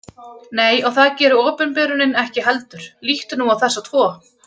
Nei, og það gerir opinberunin ekki heldur. líttu nú á þessa tvo.